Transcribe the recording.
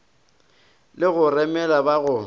le go remela ba go